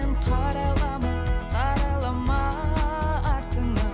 қарайлама қарайлама артыңа